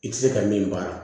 I tɛ se ka min baara